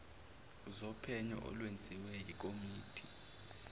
zophenyo olwenziwe yikomidi